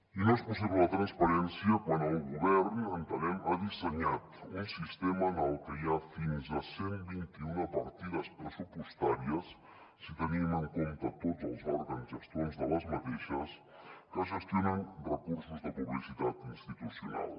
i no és possible la transparència quan el govern entenem ha dissenyat un sistema en el que hi ha fins a cent i vint un partides pressupostàries si tenim en compte tots els òrgans gestors de les mateixes que gestionen recursos de publicitat institucional